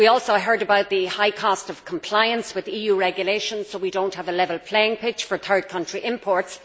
We also heard about the high cost of compliance with EU regulations, so that we do not have a level playing field for third country imports.